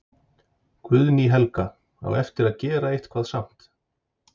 Guðný Helga: Á eftir að gera eitthvað samt?